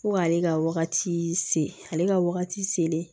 Fo k'ale ka wagati se ale ka wagati selen